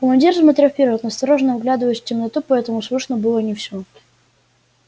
командир смотрел вперёд настороженно вглядываясь в темноту поэтому слышно было не всё